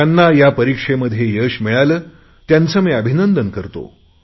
ज्यांना या परिक्षांमध्ये यश मिळाले त्यांचे मी अभिनंदन करतो